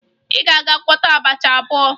Ị ga-aga gwọta abacha ozugbo!